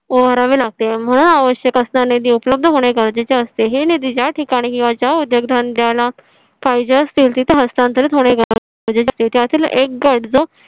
लागते. म्हणून आवश्यक असणारा निधी उपलब्ध होणे गरजेचे असते. हे निधी ज्या ठिकाणी किंवा ज्या उद्योगधंद्याला पाहिजे असतील तिथे हस्तांतरीत होणे गरजेचे असते त्यातील एक गट जो